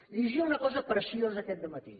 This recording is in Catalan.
llegia una cosa preciosa aquest dematí